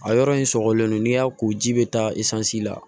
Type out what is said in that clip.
A yɔrɔ in sɔgɔlen don n'i y'a ko ji bɛ taa isansi la